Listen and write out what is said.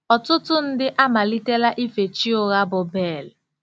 Ọtụtụ ndị amalitela ife chi ụgha bụ́ Bel.